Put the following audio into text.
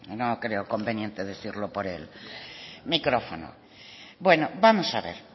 no creo conveniente decirlo por el micrófono bueno vamos a ver